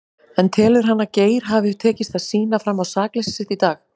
En telur hann að Geir hafi tekist að sýna fram á sakleysi sitt í dag?